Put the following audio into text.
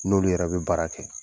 N'olu yɛrɛ bɛ baara kɛ